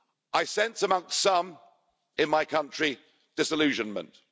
I sense among some in my country disillusionment.